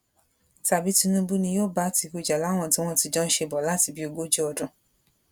tàbí tinúbù ni yóò bá àtìkù jà láwọn tí wọn ti jọ ń ṣe bọ láti bíi ogójì ọdún